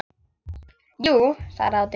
Jú, svaraði Otti.